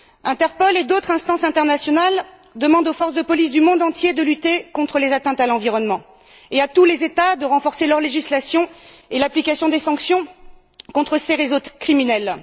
INTERPOL et d'autres instances internationales demandent aux forces de police du monde entier de lutter contre les atteintes à l'environnement, et à tous les États de renforcer leurs législations et l'application des sanctions contre ces réseaux criminels.